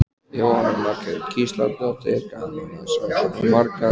Jóhanna Margrét Gísladóttir: Gaman að sjá svona marga?